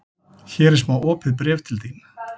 Hér er smá opið bréf til þín.